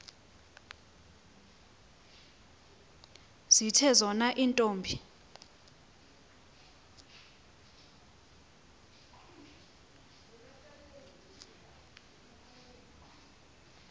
zithe zona iintombi